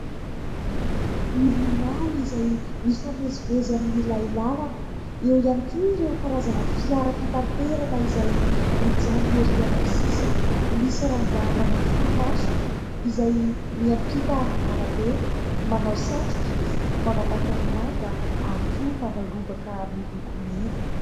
Milina maro izay mifamezivezy amin'ilay làlana. Eo ihany koa ireo karazana fiara fitaterana izay mijanona erỳ amin'ny sisiny. Misy rangahy manao solomaso izay miampita arabe, manao satroka izy, manao pataloha manga ary koa manao lobaka miloko mena.